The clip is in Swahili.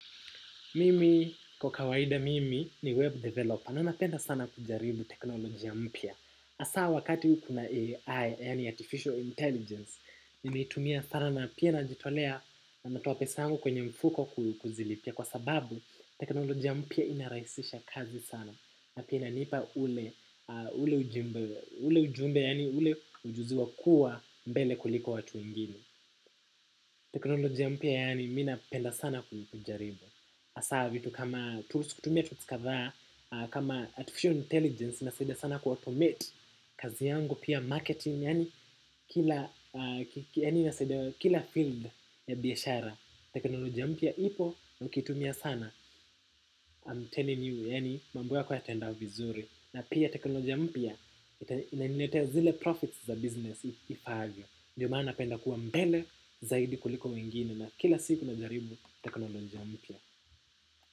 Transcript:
Mimi, kwa kawaida mimi ni web developer. Na napenda sana kujaribu teknolojia mpya. Hasaa wakati kuna AI, yaani artificial intelligence, nimeitumia sana na pia najitolea na natoa pesa yangu kwenye mfuko kuzilipia. Kwa sababu, teknolojia mpya inarahisisha kazi sana. Na pia inanipa ule ujumbe, yaani ule ujuzi wa kuwa mbele kuliko watu wengini. Teknolojia mpya, yaani mi napenda sana kujaribu. Hasaa vitu kama tools kutumia tools kadhaa. Kama artificial intelligence inasaidia sana kuautomate, kazi yangu pia marketing, yaani kila inasaidia kila field ya biashara. Teknoloja mpya ipo nakitumia sana I'm telling you yaani mambo yako yataenda vizuri. Na pia teknoloja mpya inaniletea zile profits za business, If I have you. Ndiyo maana napenda kuwa mbele zaidi kuliko wengine na kila siku najaribu teknolojia mpya.